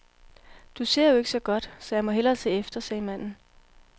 Du ser jo ikke så godt, så jeg må hellere se efter, sagde manden.